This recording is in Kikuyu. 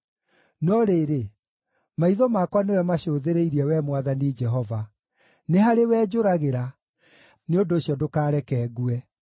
No rĩrĩ, maitho makwa nĩwe macũthĩrĩirie, Wee Mwathani Jehova; nĩ harĩwe njũragĩra; nĩ ũndũ ũcio ndũkareke ngue.